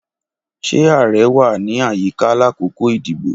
Ṣe ààrẹ wa ni ayika lakoko idibo?